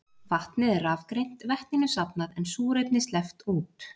Vatnið er rafgreint, vetninu safnað en súrefni sleppt út.